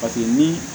Paseke ni